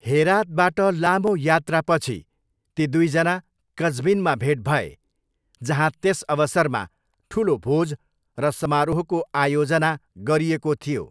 हेरातबाट लामो यात्रापछि ती दुईजना कज्विनमा भेट भए जहाँ त्यस अवसरमा ठुलो भोज र समारोहको आयोजना गरिएको थियो।